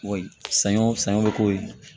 Wa saɲɔ sɛgɛn bɛ k'o ye